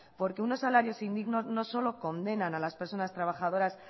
porque unos salarios indignos no solo condenan a las personas trabajadoras